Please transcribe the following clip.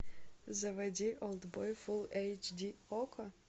заводи олдбой фулл эйч ди окко